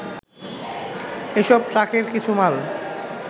এসব ট্রাকের কিছু মাল